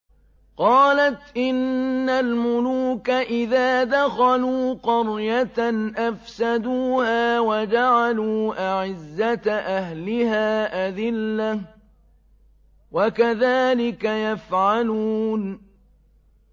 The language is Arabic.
قَالَتْ إِنَّ الْمُلُوكَ إِذَا دَخَلُوا قَرْيَةً أَفْسَدُوهَا وَجَعَلُوا أَعِزَّةَ أَهْلِهَا أَذِلَّةً ۖ وَكَذَٰلِكَ يَفْعَلُونَ